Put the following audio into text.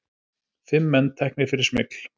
Fimm menn teknir fyrir smygl